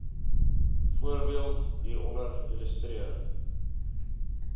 voorbeeld hieronder illustreer